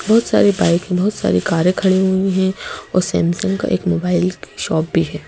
बहुत सारी बाइक बहुत सारी कारें खड़ी हुई हैं और सैमसंग का एक मोबाइल शॉप भी है।